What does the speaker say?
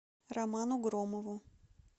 роману громову